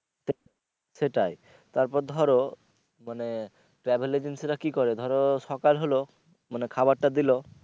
সেটাই তারপর ধরো মানে travel agency রা কি করে ধরো সকাল হলো মানে খাবার টা দিলো